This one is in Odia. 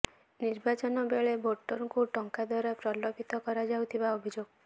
ନିର୍ବାଚନ ବେଳେ ଭୋଟରଙ୍କୁ ଟଙ୍କା ଦ୍ୱାରା ପ୍ରଲୋଭିତ କରାଯାଉଥିବା ଅଭିଯୋଗ